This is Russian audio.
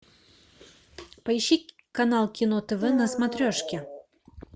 поищи канал кино тв на смотрешке